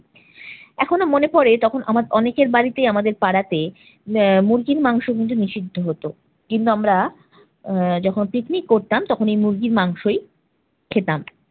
এখনো মনে পরে তখন আমার অনেকের বাড়িতে আমাদের পাড়াতে আহ মুরগির মাংস কিন্তু নিষিদ্ধ হতো। কিংবা আমরা আহ যখন পিকনিক করতাম তখন এই মুরগির মাংসই খেতাম।